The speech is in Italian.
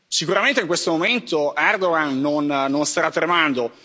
Sicuramente in questo momento Erdogan non starà tremando.